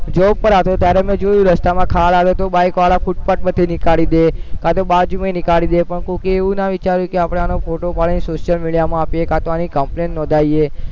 ત્યારે મેં જોયું રસ્તામાં ખાડો આવે તો bike વાળા ફૂટપાથ પરથી નિકાળી દે કાંતો બાજુમાં ય નીકાળી દે પણ કોકે એવું ના વિચાર્યું કે આપણે આનો ફોટો પાડીને social media માં આપીએ કાંતો આની complaint નોંધાવીએ